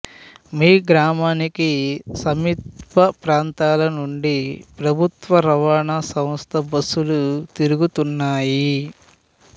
మీగ్రామానికి సమీప ప్రాంతాల నుండి ప్రభుత్వ రవాణా సంస్థ బస్సులు తిరుగుతున్నాయి